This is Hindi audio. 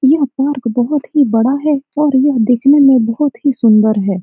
यह पार्क बहुत ही बड़ा है और यह देखने में बहुत ही सुन्दर है।